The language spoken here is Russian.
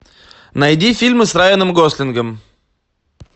найди фильмы с райаном гослингом